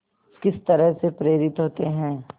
किस तरह से प्रेरित होते हैं